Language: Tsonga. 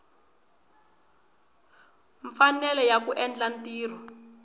mfanelo ya ku endla ntirho